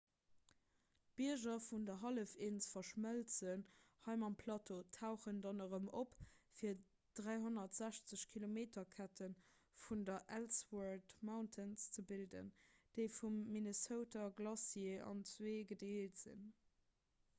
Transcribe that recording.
d'bierger vun der hallefinsel verschmëlzen hei mam plateau tauchen dann erëm op fir d'360-km-kette vun den ellsworth mountains ze bilden déi vum minnesota glacier an zwee gedeelt sinn